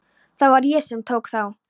Það var ég sem tók þá.